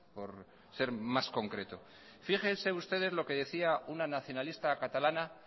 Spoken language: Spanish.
por ser más concreto fíjense ustedes lo que decía una nacionalista catalana